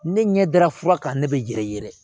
Ne ɲɛ dara fura kan ne bɛ yɛrɛ yɛrɛ